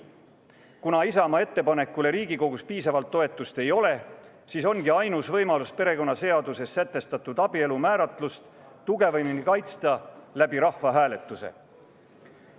Kuna Isamaa ettepanekule Riigikogus piisavalt toetust ei ole, siis ongi ainus võimalus perekonnaseaduses sätestatud abielu määratlust tugevamini kaitsta rahvahääletuse abil.